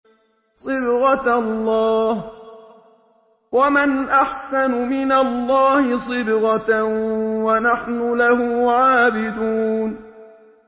صِبْغَةَ اللَّهِ ۖ وَمَنْ أَحْسَنُ مِنَ اللَّهِ صِبْغَةً ۖ وَنَحْنُ لَهُ عَابِدُونَ